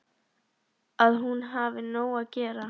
Að hún hafi nóg að gera.